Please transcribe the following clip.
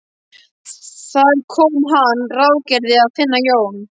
Þar kom að hann ráðgerði að finna Jón